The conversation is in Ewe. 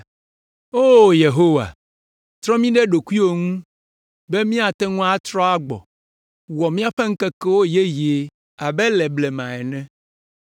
O Yehowa, trɔ mí ɖe ɖokuiwò ŋu be míate ŋu atrɔ agbɔ, wɔ míaƒe ŋkekewo yeye abe le blema ene.